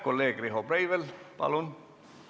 Kolleeg Riho Breivel, palun!